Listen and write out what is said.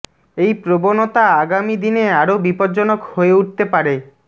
এই প্রবণতা আগামি দিনে আরও বিপজ্জনক হয়ে উঠতে পারে